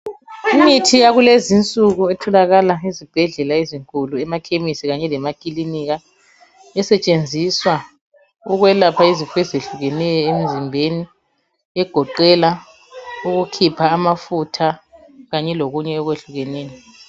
Imithi yakulezinsuku etholakala ezibhedlela ezinkulu, emakhemisi kanye lemakilinika esetshenziswa ukwelapha izifo ezehlukeneyo emzimbeni, egoqela ukukhipha amafutha kanye lokunye okwehlukeneyo.